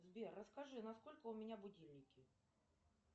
сбер расскажи на сколько у меня будильники